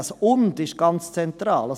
Das Wort «und» ist ganz zentral.